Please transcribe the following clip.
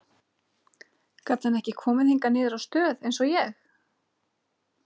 Gat hann ekki komið hingað niður á stöð eins og ég?